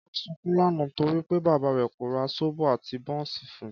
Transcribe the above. Kọ́lá sunkún lánàá torí pé bàbá rẹ̀ kò ra sóbò àti bọ́ọ̀ǹsì fun